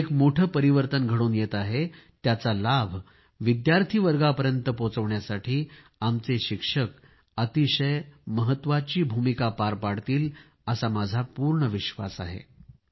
एक मोठे परिवर्तन घडून येत आहे त्याचा लाभ विद्यार्थी वर्गापर्यंत पोहोचविण्यासाठी आमचे शिक्षक अतिशय महत्वाची भूमिका पार पाडतील असा माझा पूर्ण विश्वास आहे